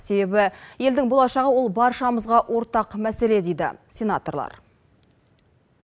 себебі елдің болашағы ол баршамызға ортақ мәселе дейді сенаторлар